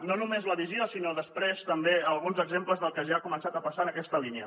no només la visió sinó després també alguns exemples del que ja ha començat a passar en aquesta línia